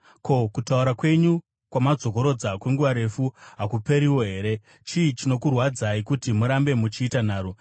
Ko, kutaura kwenyu kwamadzokorora kwenguva refu hakuperiwo here? Chii chinokurwadzai kuti murambe muchiita nharo?